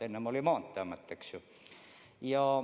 Enne oli meil Maanteeamet, eks ju.